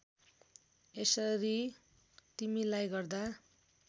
यसरी तिमीलाई गर्दा